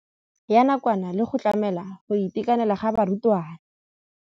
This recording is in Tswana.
Ya nakwana le go tlamela go itekanela ga barutwana.